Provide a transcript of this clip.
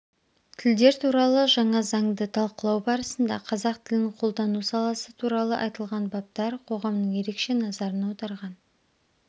тілдер туралы жаңа заңды талқылау барысында қазақ тілін қолдану саласы туралы айтылған баптар қоғамның ерекше назарын аударған